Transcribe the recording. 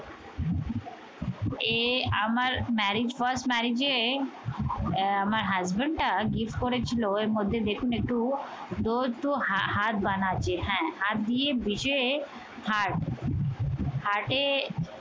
এই আমার marriage first marriage এ আহ আমার husband টা gift করেছিল এর মধ্যে দেখুন একটু heart বানাচ্ছে। হ্যা heart দিয়ে বিশে heart heart এ